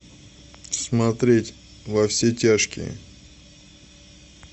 смотреть во все тяжкие